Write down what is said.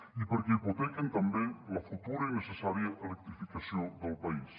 i perquè hipotequen també la futura i necessària electrificació del país